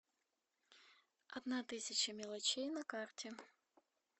одна тысяча мелочей на карте